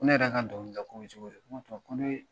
Ne yɛrɛ ka dɔnkilida ko bɛ cogo di?